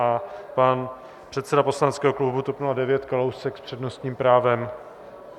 A pan předseda poslaneckého klubu TOP 09 Kalousek s přednostním právem.